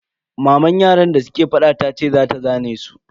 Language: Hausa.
Maman yaran da suke fada tace za ta zane su.